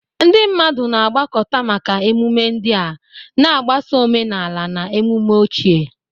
Ndị mmadụ na-agbakọta maka ememe ndị a, na-agbaso omenala na ememe ochie.